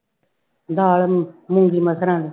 ਦਾਲ ਮੂੰਗੀ ਮਸਰਾਂ ਦੀ।